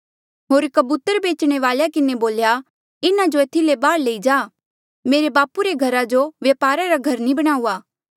होर कबूतर बेचणे वालेया किन्हें बोल्या इन्हा जो एथी ले बाहर लई जा मेरे बापू रे घरा जो वपारा रा घर नी बणाऊआ